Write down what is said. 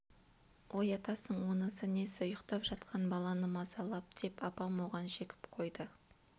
оятасың онысы несі ұйықтап жатқан баланы мазалап деп апам оған жекіп қойды